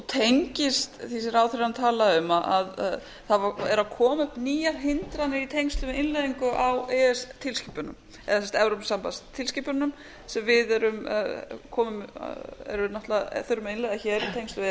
tengist því sem ráðherrann talaði um að það eru að koma upp nýjar hindranir í tengslum við innleiðingu á e s b tilskipunum eða evrópusambands tilskipununum sem við þurfum að innleiða hér í tengslum við e